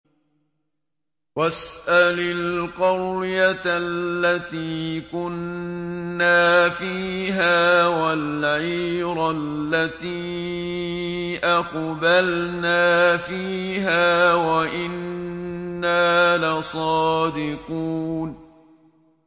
وَاسْأَلِ الْقَرْيَةَ الَّتِي كُنَّا فِيهَا وَالْعِيرَ الَّتِي أَقْبَلْنَا فِيهَا ۖ وَإِنَّا لَصَادِقُونَ